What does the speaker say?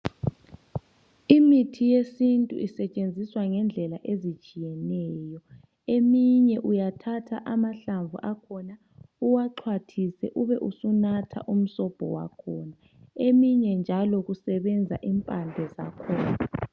Imithi yesintu isetshenziswa ngendlela ezitshiyeneyo. Eminye uyathatha amahlamvu akhona uwaxhwathise ube usunatha umsobho wakhona. Eminye njalo kusebenza impande zakhona.